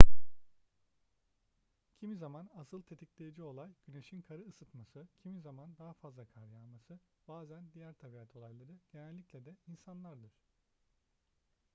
kimi zaman asıl tetikleyici olay güneşin karı ısıtması kimi zaman daha fazla kar yağması bazen diğer tabiat olayları genellikle de insandır